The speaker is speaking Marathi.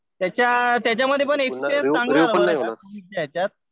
त्याच्यात त्याच्यामध्ये पण एक्सपीरियन्स चांगला होता त्याच्यात.